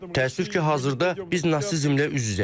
Təəssüf ki, hazırda biz nasizmlə üz-üzəyik.